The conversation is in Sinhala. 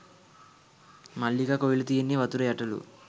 මල්ලිකා කෝවිල තියෙන්නේ වතුර යටලු